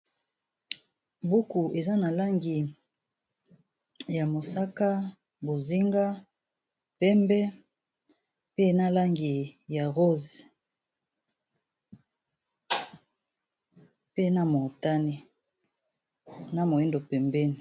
Buku eza na langi ya mosaka bozinga pembe pe na langi ya rose pe na motane na moyindo pembeni.